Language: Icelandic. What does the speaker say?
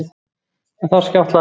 En þar skjátlaðist